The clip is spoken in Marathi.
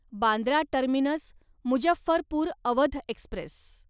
Bandra terminus Muzaffarpur Awadh Express